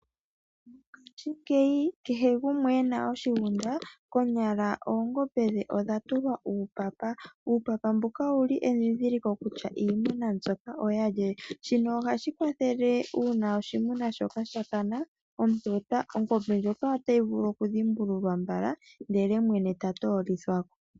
Mongaashingeyi kehe gumwe ena oshigunda konyala oongombe dhe odha tulwa uupapa . Uupapa mbuka owuli edhindhiliko kutya iimuna mbika oyalye . Shino ohashi kwathele uuna oshimuna shoka sha kana ongombe ndjoka otayi vulu oku dhimbululwa mbala ndele mwene ta toolithwako.